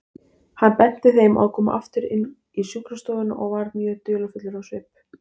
Hann benti þeim að koma aftur inn í sjúkrastofuna og var mjög dularfullur á svip.